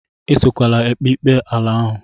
Esokwala ekpe ikpe ala ahụ!